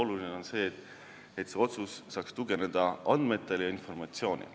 Tähtis on see, et otsus saaks põhineda andmetel ja informatsioonil.